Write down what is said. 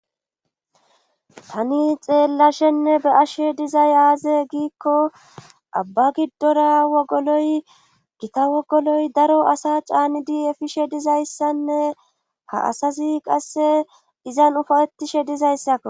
tani xeellashenne be ashe dizay aaze giikko abba giddora wogoloy gita wogoloy daro asa caanidi efishe dizayssanne ha asazi qasse izan ufawettishe dizayssakko